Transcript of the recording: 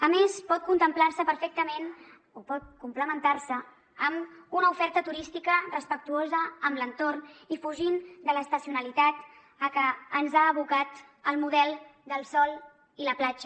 a més pot complementar se perfectament amb una oferta turística respectuosa amb l’entorn i fugint de l’estacionalitat a què ens ha abocat el model del sol i la platja